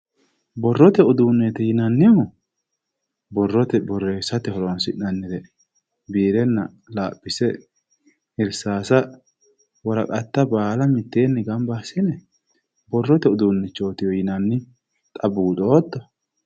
Borrote uduuneti yinnannihu, borrote borreessate horonsi'nanniho biirenna laphise irsase woraqatta baalla mitteenni gamba assine borrote uduunetiwe yinnanni, xa buuxotto.